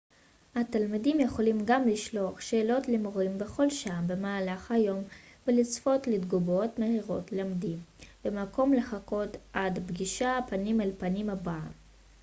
התלמידים יכולים גם לשלוח שאלות למורים בכל שעה במהלך היום ולצפות לתגובות מהירות למדי במקום לחכות עד הפגישה פנים-אל-פנים הבאה